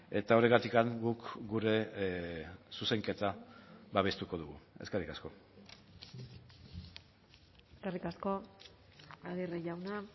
eta horregatik guk gure zuzenketa babestuko dugu eskerrik asko eskerrik asko aguirre jauna